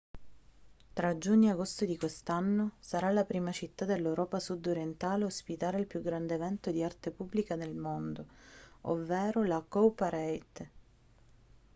tra giugno e agosto di quest'anno sarà la prima città dell'europa sud-orientale a ospitare il più grande evento di arte pubblica del mondo ovvero la cowparade